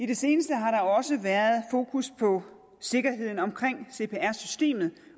det seneste har der også været fokus på sikkerheden omkring cpr systemet